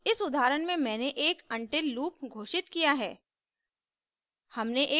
इस उदाहरण में मैंने एक until लूप घोषित किया है